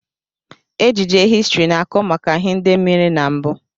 Ejije histrị na-akọ maka ihe ndị mere na mbụ.